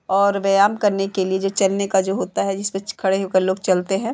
और व्यायाम करने के लिए जो चलने का जो होता है जिसमे खड़े होकर लोग चलते है।